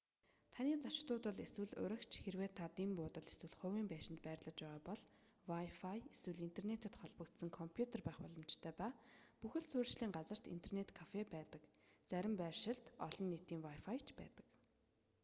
таны зочид буудал эсвэл уригч хэрэв та дэн буудал эсвэл хувийн байшинд байрлаж байгаа бол wifi эсвэл интернэтэд холбогдсон компьютер байх боломжтой ба бүх л суурьшлийн газарт интернэт кафе байдаг зарим байршилд олон нийтийн wifi ч байдаг